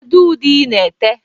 Kedu ude i na-ete?